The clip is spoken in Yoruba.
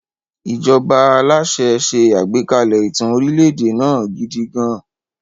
Ìjọba aláṣẹ ṣe àgbékalẹ̀ ìtàn orílẹ̀-èdè náà gidi gan-an.